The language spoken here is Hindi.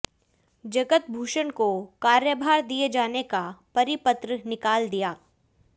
जगत भूषण को कार्यभार दिये जाने का परिपत्र निकाल दिया